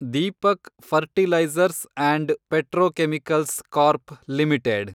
Deepak Fertilisers and Petrochemicals Corp limited